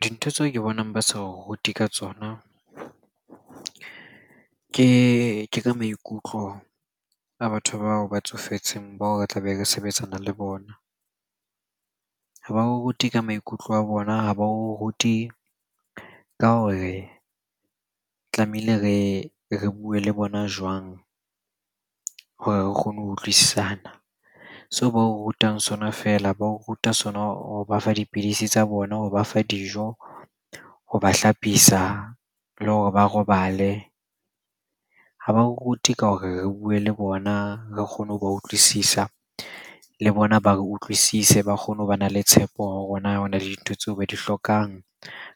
Dintho tseo ke bonang ba sa re rute ka tsona ke ka maikutlo a batho bao ba tsofetseng bao re tla be re sebetsana le bona. Ha ba o rute ka maikutlo a bona, ha ba o rute ka hore tlamehile re bue le bona jwang hore re kgone ho utlwisisana? Seo ba rutang sona feela, ba o ruta sona ho ba fa dipidisi tsa bona, ho ba fa dijo, ho ba hlapisa le hore ba robale. Ha ba rute ka hore re bue le bona, re kgone ho ba utlwisisa, le bona ba re utlwisise. Ba kgone ho ba na le tshepo na le dintho tseo ba di hlokang,